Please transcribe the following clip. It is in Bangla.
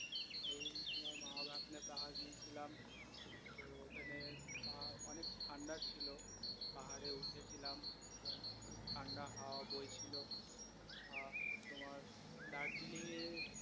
পাহাড় গিয়েছিলাম তো ওখানে আহ অনেক ঠান্ডা ছিল পাহাড়ে উঠেছিলাম আহ খুব ঠান্ডা হাওয়া বইছিলো আহ তোমার দার্জিলিংয়ের